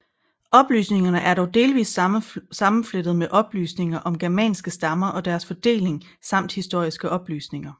Oplysningerne er dog delvist sammenflettede med oplysninger om germanske stammer og deres fordeling samt historiske oplysninger